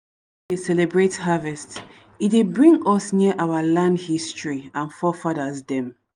celebrate harvest e dey bring us near our land history and forefathers dem